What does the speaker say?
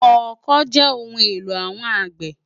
Òkõ jè óoùn éló áwòn ágbè